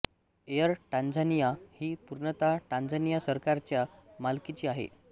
air Tanzania ही पूर्णतः Tanzania सरकारच्या मालकीची आहे